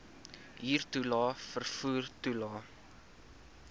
huurtoelae vervoer toelae